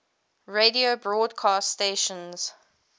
radio broadcast stations